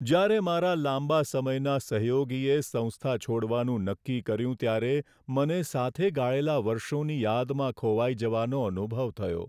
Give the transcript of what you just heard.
જ્યારે મારા લાંબા સમયના સહયોગીએ સંસ્થા છોડવાનું નક્કી કર્યું ત્યારે મને સાથે ગાળેલાં વર્ષોની યાદમાં ખોવાઈ જવાનો અનુભવ થયો.